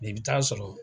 I bɛ taa sɔrɔ